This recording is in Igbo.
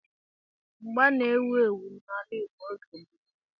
Mgba mgba na-ewu ewu n'ala Igbo n'oge gboo.